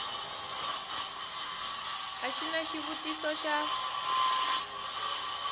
a xi na xivutiso xa